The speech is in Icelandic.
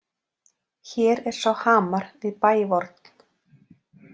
Hér er sá hamar við bæ vorn.